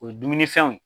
O ye dumunifɛnw ye